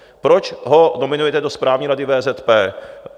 Proč ho nominujete do Správní rady VZP?